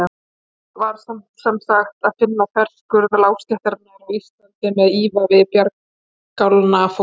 Hér var semsagt að finna þverskurð lágstéttarinnar á Íslandi með ívafi bjargálna fólks.